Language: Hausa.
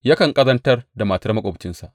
Yakan ƙazantar da matar maƙwabci.